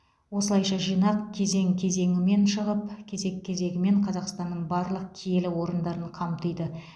осылайша жинақ кезең кезеңімен шығып кезек кезегімен қазақстанның барлық киелі орындарын қамтиды